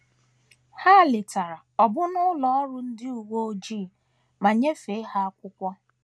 Ha letara ọbụna ụlọ ọrụ ndị uwe ojii ma nyefee ha akwụkwọ.